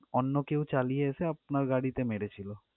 অন্য কেউ চালিয়ে এসে আপনার গাড়িতে মেরেছিল।